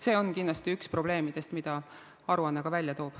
See on üks probleeme, mida aruanne ka välja toob.